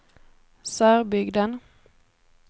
Sörbygden